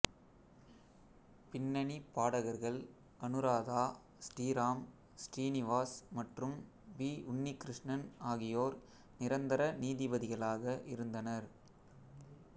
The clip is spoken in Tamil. பின்னணி பாடகர்கள் அனுராதா ஸ்ரீராம் ஸ்ரீனிவாஸ் மற்றும் பி உன்னிகிருஷ்ணன் ஆகியோர் நிரந்தர நீதிபதிகளாக இருந்தனர்